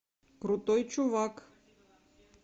крутой чувак